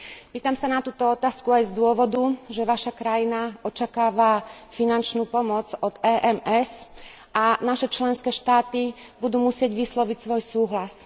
Pýtam sa na túto otázku aj z dôvodu, že Vaša krajina očakáva finančnú pomoc od EMS a naše členské štáty budú musieť vysloviť svoj súhlas.